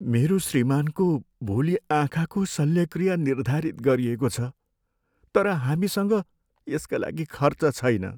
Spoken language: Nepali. मेरो श्रीमानको भोलि आँखाको शल्यक्रिया निर्धारित गरिएको छ तर हामीसँग यसका लागि खर्च छैन।